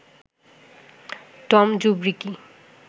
Tom জুবরিকি